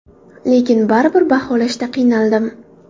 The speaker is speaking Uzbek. Lekin baribir baholashda qiynaldim.